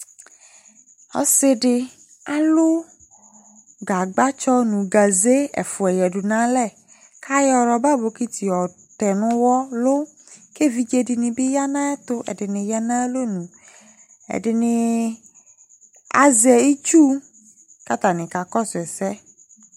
Ɔsiɖi ãlu gãgbã tsɔ, nu gazé ɛfua yaɖu nu alɛ Ku ayɔ rɔba bokiti yɔtɛ nu uwɔlu Ku evidzeɖini bi yã nu ayu ɛtu Ɛdini yã nu ayu alɔnu, ɛɖini ii azɛ itsúh, ku atani ka kɔsu ɛsɛ